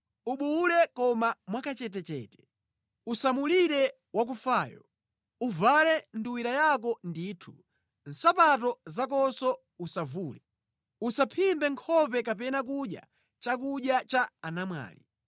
Ubuwule koma mwakachetechete. Usamulire wakufayo. Uvale nduwira yako ndithu, nsapato zakonso usavule. Usaphimbe nkhope kapena kudya chakudya cha anamfedwa.”